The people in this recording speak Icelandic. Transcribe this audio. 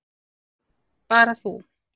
Bara þú.